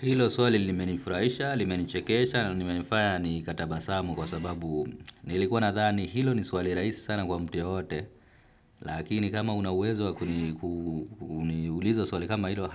Hilo suali limenifuraisha, limenichekesha, limenifaya ni katabasamu kwa sababu nilikuwa nathani hilo ni suali raisi sana kwa mtu yo yote, lakini kama una uwezo wakuniulizo suali kama hilo,